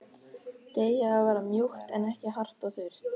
Deigið á að verða mjúkt en ekki hart og þurrt.